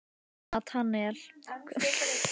Natanael, hvernig er veðurspáin?